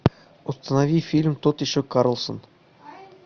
установи фильм тот еще карлсон